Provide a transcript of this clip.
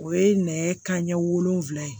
O ye nɛgɛ kanɲɛ wolonwula ye